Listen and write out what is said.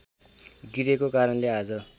गिरेको कारणले आज